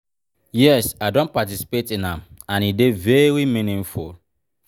yes i don participate in am and e dey very meaningful.